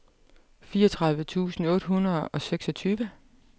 fireogtredive tusind otte hundrede og seksogtyve